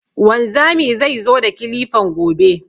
Wanzami zai zo da kilifan gobe